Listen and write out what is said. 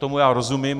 Tomu já rozumím.